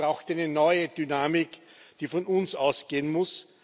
Es braucht eine neue Dynamik, die von uns ausgehen muss.